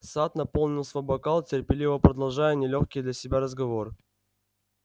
сатт наполнил свой бокал терпеливо продолжая нелёгкий для себя разговор